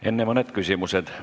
Enne mõned küsimused.